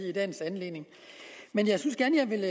i dagens anledning men jeg synes gerne jeg vil